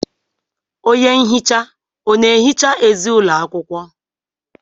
Onye nhicha ọ na-ehicha ezi ụlọ akwụkwọ?